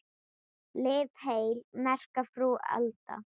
Lif heil, merka frú Alda.